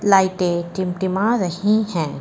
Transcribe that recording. लाइटें टिमटिमा रही हैं।